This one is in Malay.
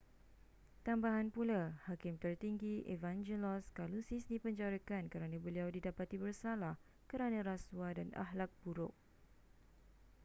tambahan pula hakim tertinggi evangelos kalousis dipenjarakan kerana beliau didapati bersalah kerana rasuah dan akhlak buruk